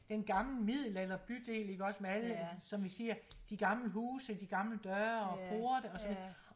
Den gamle middelalderbydel iggås med alle som vi siger de gamle huse de gamle døre og porte og så videre